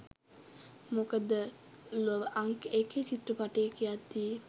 මොකද ලොව අංක එකේ චිත්‍රපටය කියද්දී